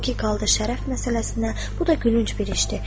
O ki qaldı şərəf məsələsinə, bu da gülünc bir işdir.